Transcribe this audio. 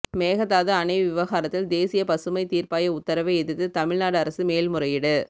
மேகதாது அணை விவகாரத்தில் தேசிய பசுமை தீர்ப்பாய உத்தரவை எதிர்த்து தமிழ்நாடு அரசு மேல்முறையீடு